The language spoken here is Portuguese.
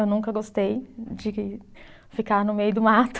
Eu nunca gostei de ficar no meio do mato.